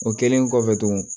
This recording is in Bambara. O kɛlen kɔfɛ tugun